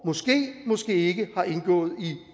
måske måske ikke har indgået